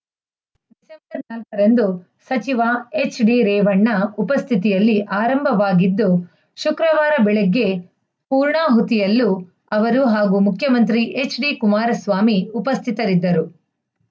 ರಂದು ಸಚಿವ ಎಚ್‌ಡಿರೇವಣ್ಣ ಉಪಸ್ಥಿತಿಯಲ್ಲಿ ಆರಂಭವಾಗಿದ್ದು ಶುಕ್ರವಾರ ಬೆಳಗ್ಗೆ ಪೂರ್ಣಹುತಿಯಲ್ಲೂ ಅವರು ಹಾಗೂ ಮುಖ್ಯಮಂತ್ರಿ ಎಚ್‌ಡಿಕುಮಾರಸ್ವಾಮಿ ಉಪಸ್ಥಿತರಿದ್ದರು